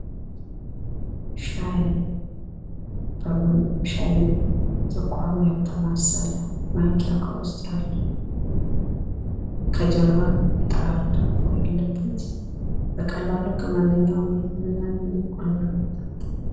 ሻይ በቡና ሻይ ስኳሩ ያልተማሰለ ማንኪያ ከውስጥ ያለው ከጀርባ የጠራር ዳቦ ያለበት በቀላሉ ከማንኛውም ግቢ የምናገኘው ነው።